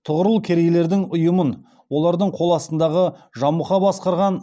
тұғырыл керейлердің ұйымын олардың қол астындағы жамұха басқарған